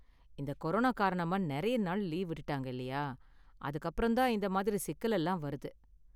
இந்த கொரோனா காரணமா நிறையா நாள் லீவு விட்டுட்டாங்க இல்லையா, அதுக்கு அப்புறம் தான் இந்த மாதிரி சிக்கல் எல்லாம் வருது